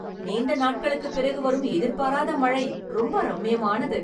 நீண்ட நாட்களுக்குப் பிறகு வரும் எதிர்பாராத மழை ரொம்ப ரம்மியமானது.